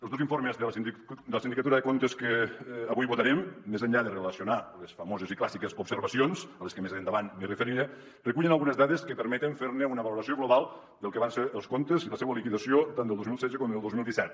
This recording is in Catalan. els dos informes de la sindicatura de comptes que avui votarem més enllà de relacionar les famoses i clàssiques observacions a les que més endavant em referiré recullen algunes dades que permeten fer ne una valoració global del que van ser els comptes i la seua liquidació tant del dos mil setze com del dos mil disset